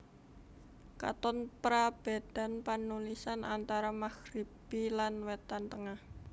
Katon prabédan panulisan antara Magribi lan Wétan Tengah